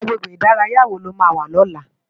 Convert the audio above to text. Agbégbé idàráyá wó ló má wà lòlá?